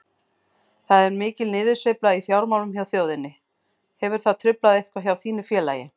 Það er mikil niðursveifla í fjármálum hjá þjóðinni, hefur það truflað eitthvað hjá þínu félagi?